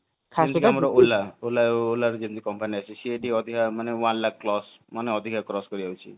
ଖାସ କରି ଆମର ola ola ବି ଯେମିତି company ଅଛି ସେ ବି ଯଦି ଅଧିକ ମାନେ one lakh cross ମାନେ ଅଧିକ cross କରି ଯାଉଛି